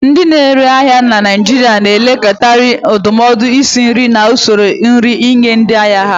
Ndị na-ere ahịa na Naijiria na-ekerịtakarị ndụmọdụ isi nri na usoro nri nye ndị ahịa ha.